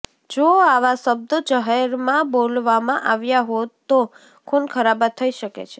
જો આવા શબ્દો જાહેરમાં બોલવામાં આવ્યા હોત તો ખૂન ખરાબા થઈ શકે છે